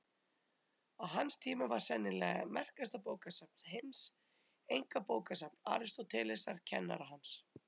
Á hans tíma var sennilega merkasta bókasafn heims einkabókasafn Aristótelesar, kennara hans.